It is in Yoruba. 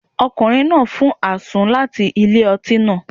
Ọkùnrin náà fún àsun láti ilé-ọtí náà